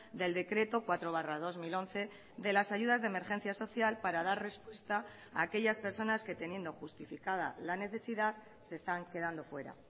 del decreto cuatro barra dos mil once de las ayudas de emergencia social para dar respuesta a aquellas personas que teniendo justificada la necesidad se están quedando fuera